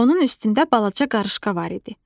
Onun üstündə balaca qarışqa var idi.